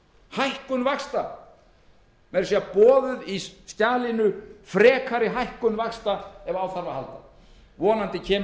hækkun vaxta meira að segja er frekari hækkun vaxta boðuð í skjalinu ef á þarf að halda vonandi kemur